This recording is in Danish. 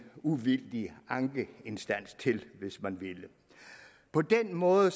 uvildig ankeinstans til hvis man ville på den måde